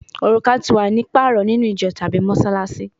Oruka ti wa ni paarọ ninu ijo tabi Mossalassi